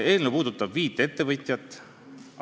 Eelnõu puudutab viite ettevõtjat.